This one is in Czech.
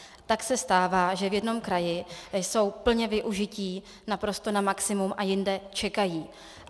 Tak se stává, že v jednom kraji jsou plně využití, naprosto na maximum, a jinde čekají.